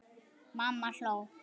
Mamma hló.